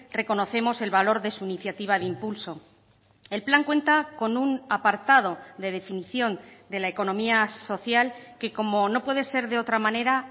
reconocemos el valor de su iniciativa de impulso el plan cuenta con un apartado de definición de la economía social que como no puede ser de otra manera